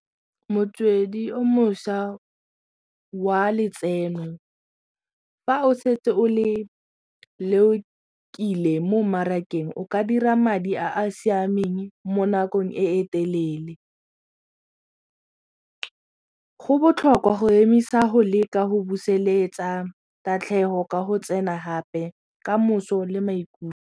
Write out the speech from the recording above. Motswedi o mošwa wa letseno fa o setse o le leokile mo mmarakeng o ka dira madi a a siameng mo nakong e e telele. Go botlhokwa go emisa go leka go buseletsa tatlhego ka go tsena gape kamoso le maikutlo.